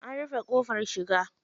An rufe ƙofar shiga.